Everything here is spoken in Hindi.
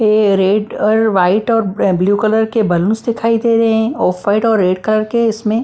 ये रेड और वाइट और ब्लू कलर के बालूनस दिखाई दे रहे हैं ऑफ वाइट और रेड कलर के इसमें--